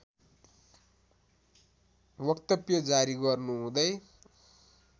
वक्तव्य जारी गर्नुहुँदै